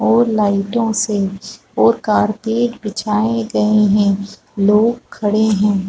और लाइटो से और कारपेट बिछाए गए है लोग खड़े हैं ।